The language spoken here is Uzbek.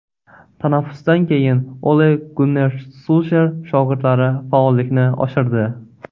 Tanaffusdan keyin Ole-Gunner Sulsher shogirdlari faollikni oshirdi.